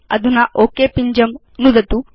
अधुना ओक पिञ्जं नुदतु